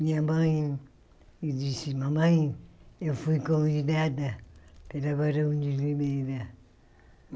Minha mãe me disse, mamãe, eu fui convidada pela barão de limeira.